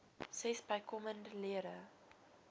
ses bykomende lede